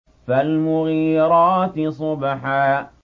فَالْمُغِيرَاتِ صُبْحًا